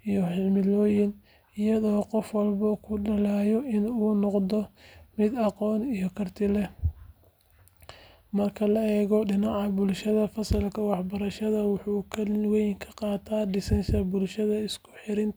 iyo himilooyin, iyadoo qof walba ku dadaalayo in uu noqdo mid aqoon iyo karti leh. Marka la eego dhinaca bulshada, fasalka waxbarashada wuxuu kaalin weyn ka qaataa dhisidda bulsho isku xirxiran oo horumarsan.